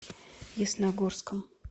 ясногорском